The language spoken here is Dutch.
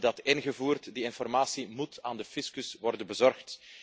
We hebben dat ingevoerd, die informatie moet aan de fiscus worden bezorgd.